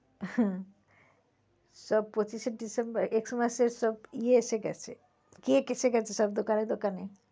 হুম, সব পঁচিশে December X mass এর সব ইয়ে এসে গেছে cake এসে গেছে সব দোকানে দোকানে।